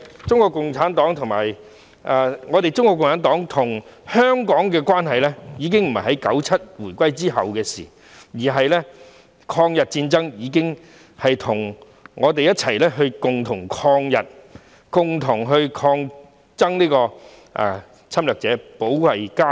中國共產黨與香港的關係並非1997年回歸後的事情，在抗日戰爭時期，我們已經共同抗日，對抗侵略者，保衞家園。